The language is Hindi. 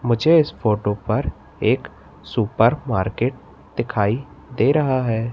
मुझे इस फोटो पर एक सुपर मार्केट दिखाई दे रहा है।